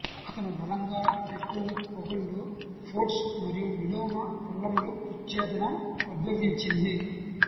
అతను బలంగా టెక్టోనిక్ పగుళ్ళు ఫ్జోర్డ్స్ మరియు విలోమ పల్లములు విచ్ఛేదనం ఉద్భవించింది